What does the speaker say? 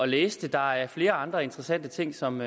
læse det der er flere andre interessante ting som